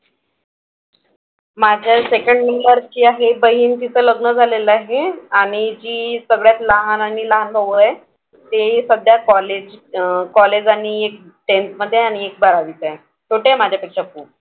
माझ्या second number ची आहे बहीण तिचं लग्न झालेलं आहे. आणि जी सगळ्यात लहान आणि लहान भाऊ आहे ते सध्या college अह college आणि एक tenth मधे आहे आणि एक बारावीत आहे. छोटे आहे माझ्यापेक्षा खूप.